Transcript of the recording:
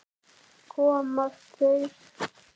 Komast þeir???